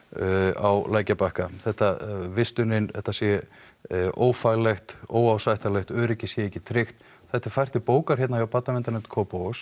á lækjarbakka þetta vistunin þetta sé ófaglegt óásættanlegt öryggi sé ekki tryggt þetta er fært til bókar hérna hjá barnaverndarnefnd Kópavogs